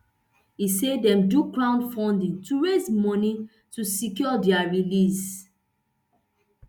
e say dem do crowdfunding to raise moni to secure dia release